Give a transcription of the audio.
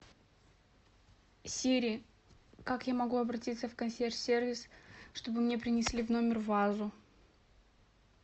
сири как я могу обратиться в консьерж сервис чтобы мне принесли в номер вазу